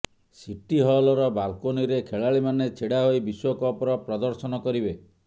city ହଲର ବାଲକୋନୀରେ ଖେଳାଳୀମାନେ ଛିଡା ହୋଇ ବିଶ୍ୱକପର ପ୍ରଦର୍ଶନ କରିବେ